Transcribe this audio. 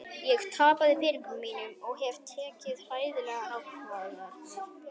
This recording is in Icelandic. Ég tapaði peningunum mínum og hef tekið hræðilegar ákvarðanir.